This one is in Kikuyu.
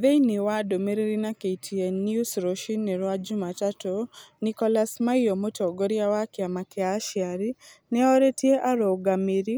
Thĩiniĩ wa ndumiriri na KTN News rũcinĩ rwa Jumatatu, Nicholas Maiyo, mũtongoria wa kĩama kĩa aciari ' nĩ orĩtie arũngamĩri